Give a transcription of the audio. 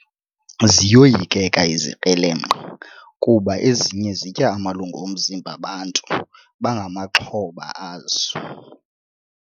Ziyoyikeka izikrelemnqa kuba ezinye zitya amalungu omzimba bantu abangamaxhoba azo.